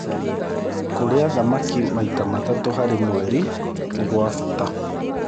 Kũrĩa thamakĩ maĩta matatũ harĩ mwerĩ nĩ gwa bata